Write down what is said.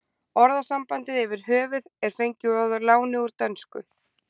Orðasambandið yfir höfuð er fengið að láni úr dönsku.